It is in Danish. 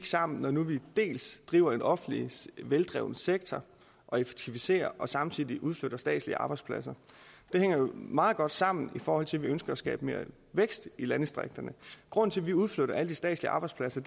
sammen når nu vi driver en offentlig veldreven sektor og effektiviserer og samtidig udflytter statslige arbejdspladser det hænger jo meget godt sammen i forhold til at vi ønsker at skabe mere vækst i landdistrikterne grunden til at vi udflytter alle de statslige arbejdspladser